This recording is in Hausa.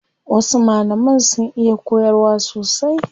Wasu malaman sun iya koyarwa sosai.